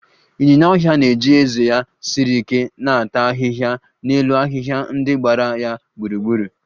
Ịnyinya ọhịa na-eji ezé ya siri ike na-ata ahịhịa n'elu ahịhịa ndị gbara ya gburugburu